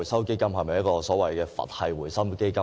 基金是否所謂的"佛系基金"呢？